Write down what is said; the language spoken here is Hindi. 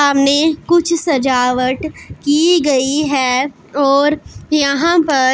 सामने कुछ सजावट की गई है और यहां पर--